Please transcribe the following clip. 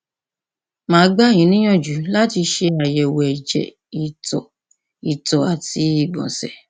màá gbà yín níyànjú láti ṣe àyẹwò ẹjẹ ìtọ ìtọ àti ìgbọnsẹ